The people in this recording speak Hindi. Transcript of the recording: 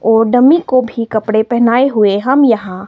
और डमी को भी कपड़े पहनाए हुए हम यहां--